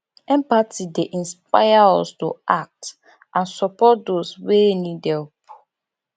empathy dey inspire us to act and support those wey need help